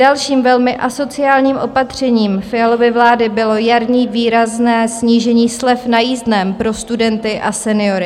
Dalším velmi asociálním opatřením Fialovy vlády bylo jarní výrazné snížení slev na jízdném pro studenty a seniory.